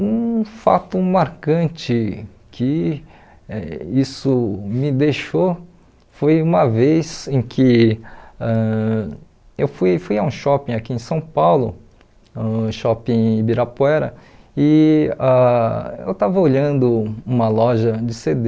Um fato marcante que isso me deixou foi uma vez em que ãh eu fui fui a um shopping aqui em São Paulo, ãh shopping Ibirapuera, e ãh eu estava olhando uma loja de cê dê,